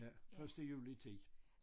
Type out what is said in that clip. Ja første juli 10